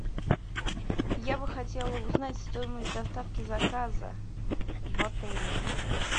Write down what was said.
я бы хотела узнать стоимость доставки заказа в отеле